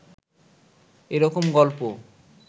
এ রকম গল্প